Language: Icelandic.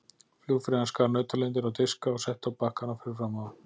Flugfreyjan skar nautalundir á diska og setti á bakkana fyrir framan þá.